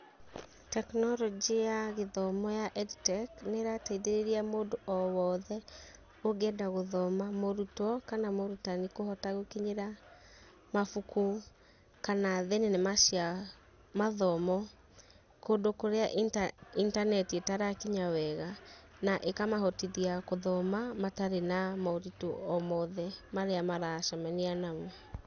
Tekinoronjĩ ya gĩthomo ya Ed Tech nĩ irateithirĩria mũndũ o wothe ũngĩenda gũthoma, mũrutwo kana mũrutani. Kũhota gũkinyĩra mabuku kana thenema cia mathomo kũndũ kũrĩa intaneti ĩtarakinya wega. Na ĩkamahotithia gũthoma matari na moritu o mothe marĩa maracemania namo.